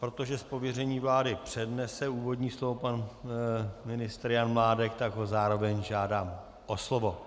Protože z pověření vlády přednese úvodní slovo pan ministr Jan Mládek, tak ho zároveň žádám o slovo.